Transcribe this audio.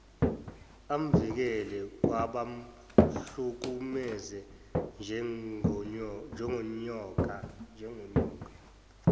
amvikele kwabamhlukumeza njengonyoka